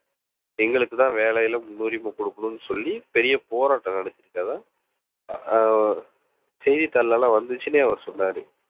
எங்களுக்குத்தான் வேலையில முன்னுரிமை குடுக்கணும்னு சொல்லி பெரிய போராட்டம் நடத்தி இருக்கிறதா ஆஹ் செய்தித்தாள்ல எல்லாம் வந்துச்சுன்னு அவர் சொன்னாரு